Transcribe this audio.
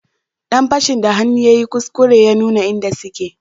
Dan fashin da hannu yayi kuskure ya nuna inda suke